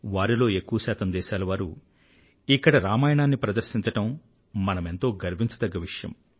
వారిలో ఎక్కువ శాతం దేశాల వారు ఇక్కడ రామాయణాన్ని ప్రదర్శించడం మనమెంతో గర్వించదగ్గ విషయం